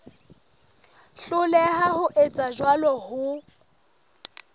hloleha ho etsa jwalo ho